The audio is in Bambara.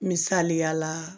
Misaliya la